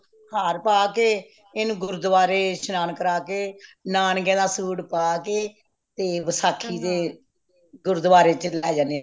ਹਾਰ ਪਾ ਕੇ ਇੰਨੂੰ ਗੁਰਦੁਆਰੇ ਸ਼ਨਾਨ ਕਰਵਾ ਕੇ ਨਾਨਕਯਾ ਦਾ ਸੂਟ ਪਵਾ ਕੇ ਤੇ ਵਸ਼ਾਖੀ ਤੇ ਗੁਰਦੁਆਰੇ ਚ ਲੇ ਜਾਂਦੇ